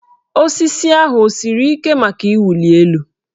Osisi ahụ o siri ike maka ịwụli elu?